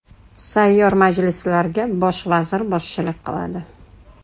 Sayyor majlislarga Bosh vazir boshchilik qiladi.